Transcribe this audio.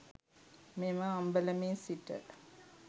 මෙම අම්බලමේ සිට